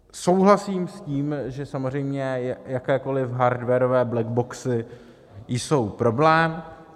Souhlasím s tím, že samozřejmě jakékoli hardwarové blackboxy jsou problém.